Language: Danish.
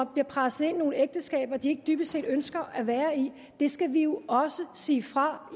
bliver presset ind i nogle ægteskaber de dybest set ikke ønsker at være i det skal vi jo også sige fra